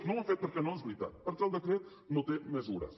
no ho han fet perquè no és veritat perquè el decret no té mesures